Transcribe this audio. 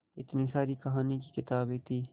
इतनी सारी कहानी की किताबें थीं